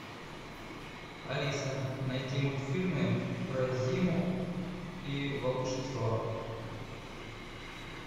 алиса найди мультфильмы про зиму и волшебство